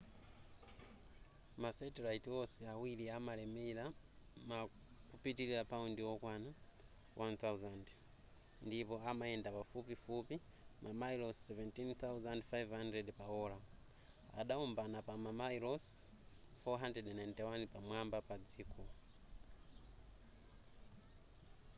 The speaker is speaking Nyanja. ma satellite wonse awiri amalemera ma kupitilira paundi wokwana 1000 ndipo amayenda pafupifupi mamayilosi 17,500 pa ola adaombana pa mamayilosi 491 pamwamba pa dziko